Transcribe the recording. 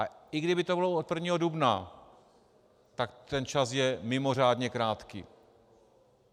A i kdyby to bylo od 1. dubna, tak ten čas je mimořádně krátký.